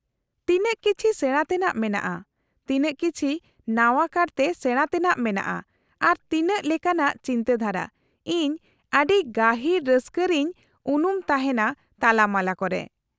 -ᱛᱤᱱᱟᱹᱜ ᱠᱤᱪᱷᱤ ᱥᱮᱬᱟ ᱛᱮᱱᱟᱜ ᱢᱮᱱᱟᱜᱼᱟ , ᱛᱤᱱᱟᱹᱜ ᱠᱤᱪᱷᱤ ᱱᱟᱣᱟ ᱠᱟᱨᱛᱮ ᱥᱮᱬᱟ ᱛᱮᱱᱟᱜ ᱢᱮᱱᱟᱜᱼᱟ , ᱟᱨ ᱛᱤᱱᱟᱹᱜ ᱞᱮᱠᱟᱱᱟᱜ ᱪᱤᱱᱛᱟᱹ ᱫᱷᱟᱨᱟ , ᱤᱧ ᱟᱰᱤ ᱜᱟᱦᱤᱨ ᱨᱟᱹᱥᱠᱟᱹ ᱨᱮᱧ ᱩᱱᱩᱢ ᱛᱟᱦᱮᱱᱟ ᱛᱟᱞᱟ ᱢᱟᱞᱟ ᱠᱚᱨᱮ ᱾